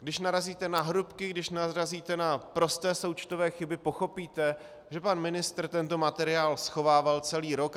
Když narazíte na hrubky, když narazíte na prosté součtové chyby, pochopíte, že pan ministr tento materiál schovával celý rok.